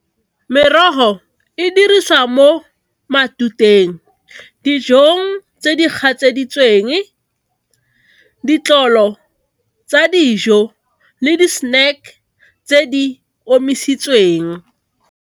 Merogo e dirisiwa mo matuteng, dijong tse di gatseditsweng, ditlolo tsa dijo le di snack tse di omisitsweng.